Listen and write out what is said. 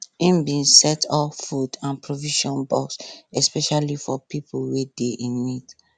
im bin set up food and provision box especially for pipo wey dey in need